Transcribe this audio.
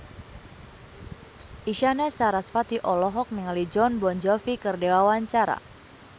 Isyana Sarasvati olohok ningali Jon Bon Jovi keur diwawancara